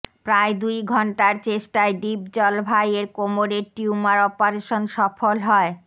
প্রায় দুই ঘণ্টার চেষ্টায় ডিপজল ভাইয়ের কোমরের টিউমার অপারেশন সফল হয়